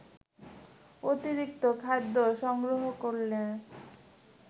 অতিরিক্ত খাদ্য সংগ্রহ করলে